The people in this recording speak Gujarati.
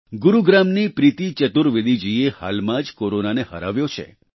ગુરુગ્રામની પ્રીતિ ચતુર્વેદી જીએ હાલમાં જ કોરોનાને હરાવ્યો છે